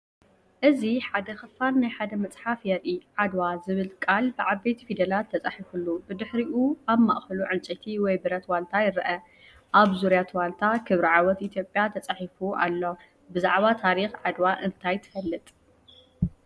እዚ ሓደ ክፋል ናይ ሓደ መጽሓፍ የርኢ። "ዓድዋ" ዝብል ቃል ብዓበይቲ ፊደላት ተጻሒፉሉ፡ ብድሕሪኡ ኣብ ማእከሉ ዕንጨይቲ ወይ ብረት ዋልታ ይረአ። ኣብ ዙርያ እቲ ዋልታ "ክብሪ ዓወት ኢትዮጵያ" ተጻሒፉ ኣሎ። ብዛዕባ ታሪኽ "ዓድዋ" እንታይ ትፈልጥ?